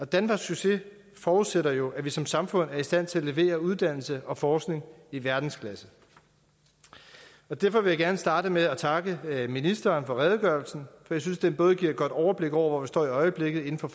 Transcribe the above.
danfoss succes forudsætter jo at vi som samfund er i stand til at levere uddannelse og forskning i verdensklasse derfor vil jeg gerne starte med at takke ministeren for redegørelsen for jeg synes den både giver et godt overblik over hvor vi står i øjeblikket inden for